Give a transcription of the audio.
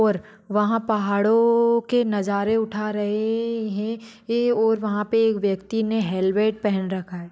और वहा पहाड़ो के पर नज़ारे उठा रहे है और वहा पे एक व्यक्ति ने हेलमेट पहन रखा है।